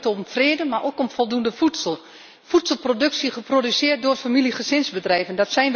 Toen ging het om vrede, maar ook om voldoende voedsel, voedselproductie, geproduceerd door boerenfamilie en gezinsbedrijven.